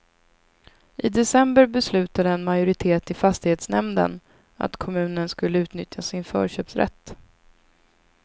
I december beslutade en majoritet i fastighetsnämnden att kommunen skulle utnyttja sin förköpsrätt.